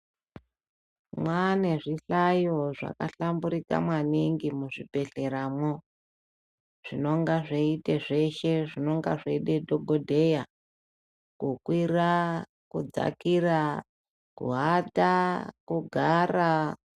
Mwaane zvihlayo zvakahlamburuka maningi muzvibhedhleramwo zvinonga zveiita zveshe zvinenge zveide dhogodheya kukwira kudzakira, kuata kugara.